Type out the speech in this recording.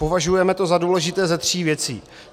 Považujeme to za důležité ze tří věcí.